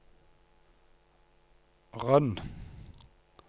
Røn